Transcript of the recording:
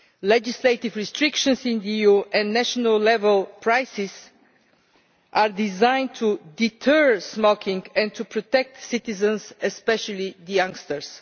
Legislative restrictions in the EU and national level prices are designed to deter smoking, and to protect citizens, especially youngsters.